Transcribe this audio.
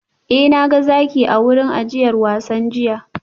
Eh na ga zaki a wurin ajiyar wasan jiya